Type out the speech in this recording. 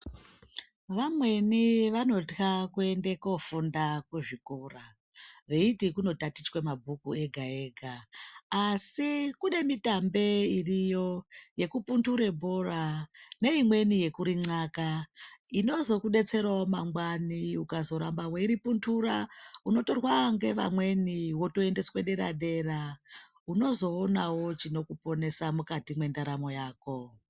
Vamweni vanotya kuende kofunda kuchikora veiti kunotatichwa mabhuku ega ega asi kune mitambe iriyo yekuphundure bhora neimweni yekuri nxaka inozokudetserawo mangwani ukazoramba weiriphundura unotorwa neamweni wotoendeswa dera dera unzoonawo chinokuponesa mukati mwendaramo yako.